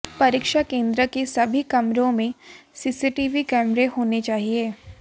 परीक्षा केंद्र के सभी कमरों में सीसीटीवी कैमरे होने चाहिए